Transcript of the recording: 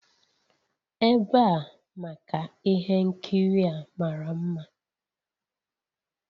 Ebe a maka ihe nkiri a mara mma